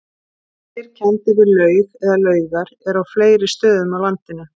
Vegir kenndir við laug eða laugar eru á fleiri stöðum á landinu.